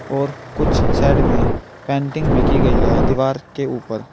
और कुछ साइड में पेंटिंग भी की गई है दीवार के ऊपर।